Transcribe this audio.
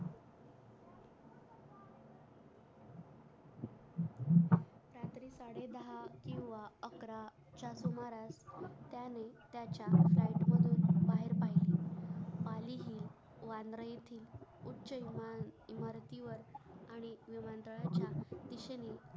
त्यानी दहा किव्हा अकरा च्या सुमारास त्यांनी त्याच्या library बाहेर पडले